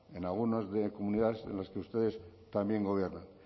en algunas comunidades en las que ustedes también gobiernan